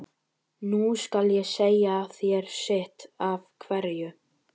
Nú skal ég segja þér sitt af hverju.